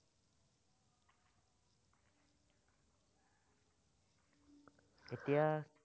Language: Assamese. এতিয়া